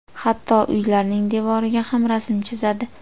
Hatto uylarning devoriga ham rasm chizadi.